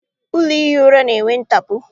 Ụlọ ihi ura na-enwe ntapu.